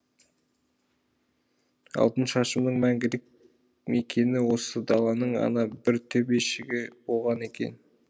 алтыншашымның мәңгілік мекені осы даланың ана бір төбешігі болған екен